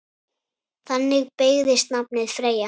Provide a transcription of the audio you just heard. Þannig beygist nafnið Freyja